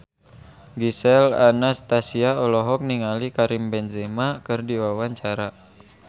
Gisel Anastasia olohok ningali Karim Benzema keur diwawancara